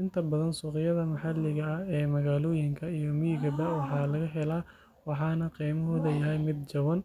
Inta badan suuqyada maxalliga ah ee magaalooyinka iyo miyigaba way laga helaa, waxaana qiimaheedu yahay mid jaban.